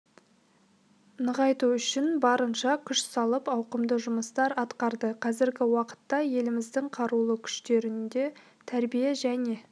нығайту үшін барынша күш салып ауқымды жұмыстар атқарды қазіргі уақытта еліміздің қарулы күштерінде тәрбие және